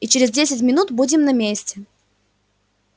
и через десять минут будем на месте